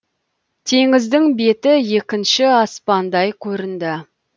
теңіздің беті екінші аспандай көрінді